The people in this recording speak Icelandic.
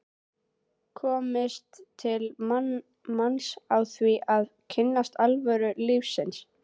komist til manns á því að kynnast alvöru lífsins.